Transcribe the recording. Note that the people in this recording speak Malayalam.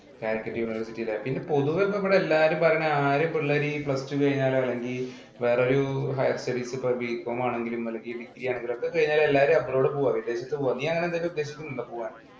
Calicut university ലാ. പിന്നെ പൊതുവേ ഇപ്പോ എവിടെ എല്ലാരും പറയണേ ആദ്യം പിള്ളേര് ഈ plus two കഴിഞ്ഞാലോ അല്ലെങ്കിൽ വേറൊരു higher studies B. Com ആണെങ്കിലും അല്ലെങ്കില്‍ ഒക്കെ കഴിഞ്ഞാലും എല്ലാരും abroad പോവുക. വിദേശത്ത് പോകുക. നീയെങ്ങനെ ഉദ്ദേശിക്കുന്നുണ്ടോ പോവാന്‍.